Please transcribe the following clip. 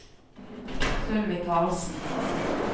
Sylvi Karlsen